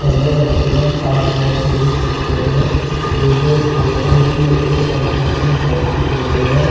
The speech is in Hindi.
हैलो एवरीवन आप जैसे देख सकते हैं ये जो एक फोटो है ये एक कंस्ट्रक्शन साइट की फोटो है।